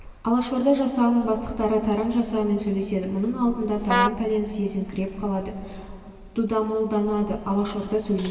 алашорда жасағының бастықтары таран жасағымен сөйлеседі мұның алдында таран пәлені сезіңкіреп қалады дүдамалданады алашорда сөйлейді